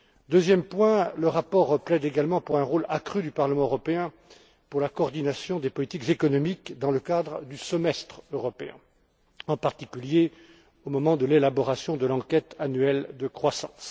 Deuxièmement, le rapport plaide également pour un rôle accru du Parlement européen dans la coordination des politiques économiques dans le cadre du semestre européen, en particulier au moment de l'élaboration de l'examen annuel de la croissance.